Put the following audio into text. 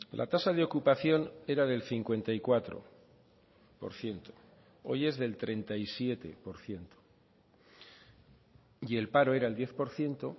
la tasa de ocupación era del cincuenta y cuatro por ciento hoy es del treinta y siete por ciento y el paro era el diez por ciento